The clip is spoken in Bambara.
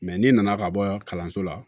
n'i nana ka bɔ kalanso la